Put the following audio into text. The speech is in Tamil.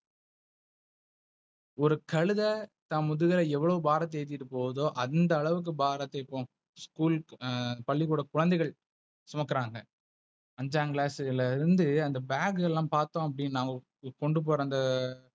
ஒரு கழுத தன் முதுகை எவ்ளோ பாரத்தை ஏத்திட்டு போகுதோ அந்த அளவுக்கு பாரத்தைப்போம். School பள்ளிக்கூட குழந்தைகள் சுமக்குறாங்க. அஞ்சாங் Class ல இருந்து அந்த Bag எல்லாம் பார்த்தோம் அப்டினா கொண்டுபோற அந்த,